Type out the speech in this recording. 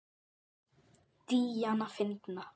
Díana fyndna.